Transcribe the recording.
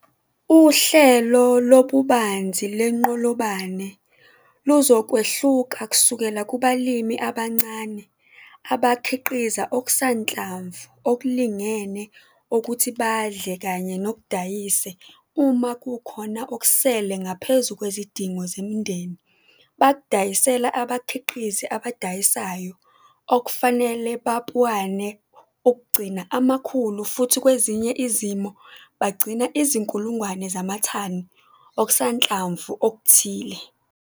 Uhlelo lobubanzi lwenqolobane luzokwehluka kusukela kubalimi abancane abakhiqiza okusanhlamvu okulingene okuthi badle kanye nokudayise uma kukhona okusele ngaphezu kwezidingo zemindeni bakudayisela abakhiqizi abadayisayo okufanele bapuane ukugcina amakhulu futhi kwezinye izimo bagcina izinkulungwane zamathani okusanhlamvu okuthile.